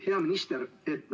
Hea minister!